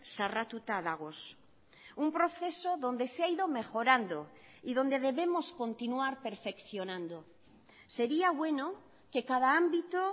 zarratuta dagoz un proceso donde se ha ido mejorando y donde debemos continuar perfeccionando sería bueno que cada ámbito